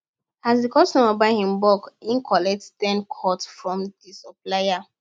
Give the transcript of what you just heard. as the customer buy in bulk e collect ten cut from di supplier